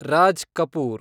Raj Kapoor